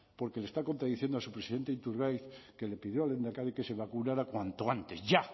porque le está contradiciendo a su presidente iturgaiz que le pidió al lehendakari que se vacunara cuanto antes ya